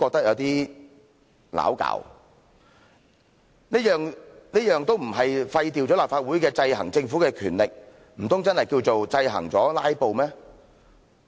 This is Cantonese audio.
若說這些不是廢掉了立法會制衡政府的權力，難道確實是制衡了"拉布"嗎？